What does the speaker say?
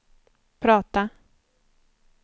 prata